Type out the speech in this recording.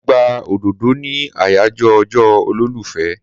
Mo gba òdòdó ní àyàjọ́ ọjọ́ olólùfẹ́.